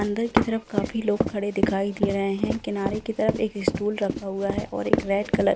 अंदर की तरफ काफी लोग खड़े दिखाई दे रहें हैं किनारे की तरफ एक स्टूल रखा हुआ है और एक रेड कलर --